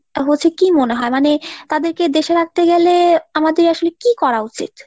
হচ্ছে কি মনে হয় মানে তাদেরকে দেশে রাখতে গেলে আমাদের আসলে কি করা উচিৎ?